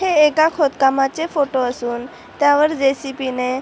हे एका खोद कामाचे फोटो असून त्यावर जे.सी.बी. ने--